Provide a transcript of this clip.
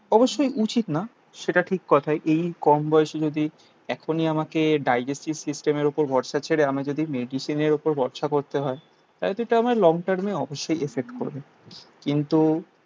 অবশ্যই উচিত না. সেটা ঠিক কথা. এই কম বয়সে যদি এখনই আমাকে ডায়াজেসিস সিস্টেমের উপর ভরসা ছেড়ে আমি যদি মেডিসিনের উপর ভরসা করতে হয় লং টার্মে অবশ্যই ইফেক্ট করবে. কিন্তু